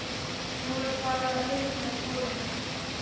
Nú er farið að hitna í kolunum.